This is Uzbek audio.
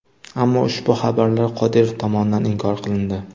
Ammo ushbu xabarlar Qodirov tomonidan inkor qilindi.